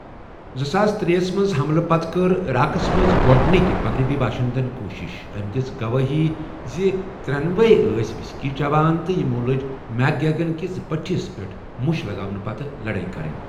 زٕساس ترے ہسَ منٛز حملہٕ پتہٕ کٔر عراقَس منٛز گۄڈٕنِک مغربی باشندَن کوٗشش، أمۍ دِژ گوٲہی زِ ترٛٮ۪نوٲے ٲس وِسکی چیوان تہٕ یِمَو لٔجۍ میک گیگن کِس بٔتھِس پٮ۪ٹھ مُش لگاونہٕ پتہٕ لڑٲے کرٕنۍ ۔